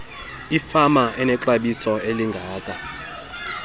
ifama enexabiso elingaka